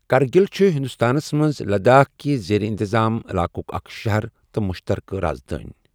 کرگِل چھُ ہندوستانَس منٛز لداخ كہِ زیر انتظام علاقُك اکھ شہر تہٕ مشترکہ رازدٲنہِ ۔